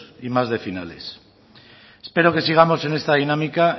y más de finales espero que sigamos en esta dinámica